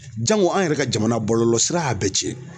Jango an yɛrɛ ka jamana bɔlɔlɔsira y'a bɛɛ cɛn.